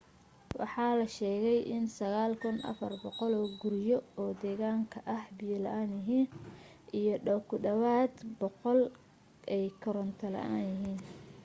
waxaa la sheegay in 9400 guriyo oo deegaanka ay biyo la'aan yihiim iyo ku dhawaad 100 ay koronto la'aan yihiin